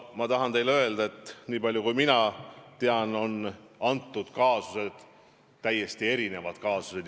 Nii palju kui mina tean, on need täiesti erinevad juhtumid.